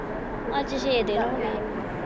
ਅੱਜ ਫਿਰ ਇਹ ਹੋਗੇ।